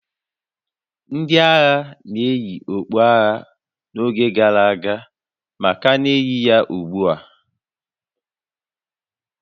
Ndị agha na-eyi okpu agha n'oge gara aga ma ka na-eyi ya ugbu a